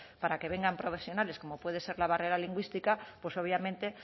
para que vengan profesionales como puede ser la barrera lingüística pues obviamente